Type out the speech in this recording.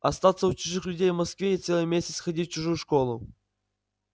остаться у чужих людей в москве и целый месяц ходить в чужую школу